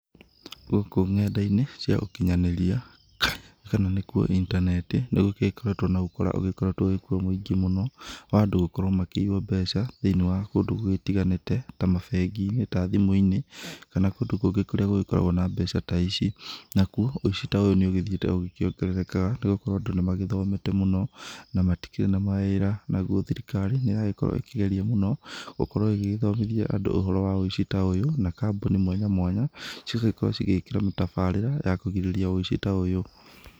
Gũkũ nenda-inĩ cia ũkinyanĩria kana nĩ kuo intaneti nĩgũgĩkoretwo na ũkora ũgĩkoretwo ũrĩ kũo mũingĩ mũno wa andũ gũkorwo makĩiywo mbeca thĩiniĩ wa kũndũ gũgĩtiganĩte ta mabengi-inĩ ta thimũ-inĩ kana kũndũ kũngĩ kũrĩa gũkoragwo na mbeca ta ici, nakuo wĩici ta ũyũ nĩ ũgĩthĩite ũgĩ kĩongererekaga nĩ gũkorwo andũ nĩ magĩthomete mũno na matikĩrĩ na mawĩra, naguo thirikari nĩ ĩragĩkorwo ĩkĩgerĩa mũno gũkorwo ĩgĩgĩthomithia andũ ũhoro wa wĩici ta ũyũ na kambuni mwanya mwanya cĩgagĩkorwo cigĩkĩra mĩtabarĩra ya kũgĩrĩrĩria ũhoro ta ũyũ.